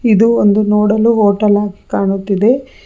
ಇದು ಒಂದು ನೋಡಲು ಹೋಟೆಲ್ ಆಗಿ ಕಾಣುತ್ತಿದೆ.